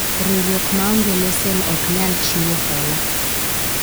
riwruok maonge lesen ok nyal chiwo hola